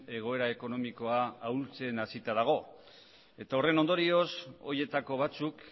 egoera ekonomikoa ahultzen hasita dago eta horren ondorioz horietako batzuk